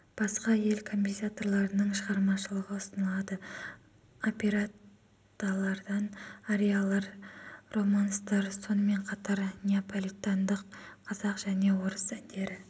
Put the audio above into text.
басқа ел композиторларының шығармашылығы ұсынылады оперетталардан ариялар романстар сонымен қатар неополитандық қазақ және орыс әндері